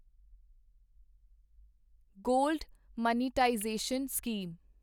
gold monetisation scheme